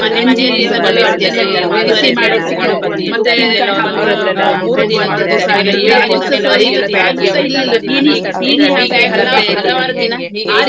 ಆದ್ರೆ ಹ್ಮ್ Facebook ಅಲ್ಲಿ ಈಗೆಲ್ಲಾ ಕೆಲವ್ರು ಸಿಕ್ಕಿದ್ದಾರೆ ನಂಗೆ. ಅವ್ರತ್ರೆಲ್ಲಾ ನಾನ್ friends ಮಾಡ್ಕೊಂಡು ನಾನ್ ಊರಿಗ್ ಹೋದ್ಮೇಲ್ ಅವ್ರಿಗೆಲ್ಲ ಸಿಕ್ಕಿ ಅವ್ರತ್ರೆಲ್ಲಾ ಮತಾಡ್ತೇನೆ, ಆ ಹೇಗಿದ್ದೀರಿ? ಹೇಗೆ?